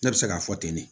Ne bɛ se k'a fɔ ten de